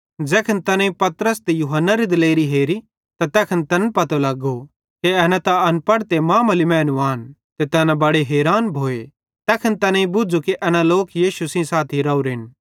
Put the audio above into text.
ज़ैखन तैनेईं पतरस ते यूहन्नारी दिलेरी हेरी त तैखन तैन पतो लगो कि एना त अनपड़ ते मामुली मैनू आन ते तैना बड़े हैरान भोए तैखन तैनेईं बुझ़ू कि एना लोक यीशु सेइं साथी राहोरेन